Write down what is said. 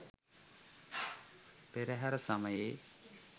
පෙරහර සමයේ